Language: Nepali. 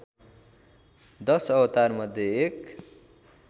दश अवतारमध्ये एक